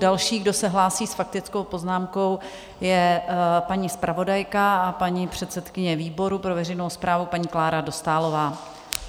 Další, kdo se hlásí s faktickou poznámkou, je paní zpravodajka a paní předsedkyně výboru pro veřejnou správu, paní Klára Dostálová.